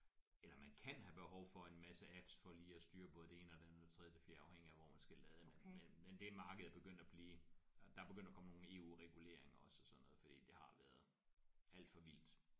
Eller man kan have behov for en masse apps for at lige at styre både det ene og det andet og det tredje og det fjerde afhængigt af hvor man skal lade men men men det marked er begyndt at blive øh der er begyndt at komme nogle EU reguleringer også og sådan noget fordi det har været alt for vildt